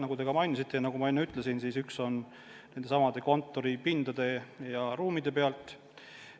Nagu teiegi mainisite ja nagu ma enne ütlesin, üks on kontoripindade, ruumide pealt.